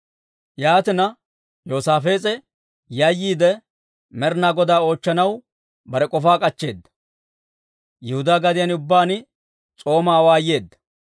Yaatina, Yoosaafees'e yayyiide, Med'inaa Godaa oochchanaw bare k'ofaa k'achcheeda; Yihudaa gadiyaan ubbaan s'oomaa awaayeedda.